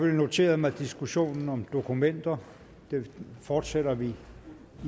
noteret mig diskussionen om dokumenter den fortsætter vi